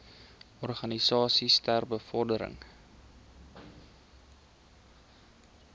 organisasies ter bevordering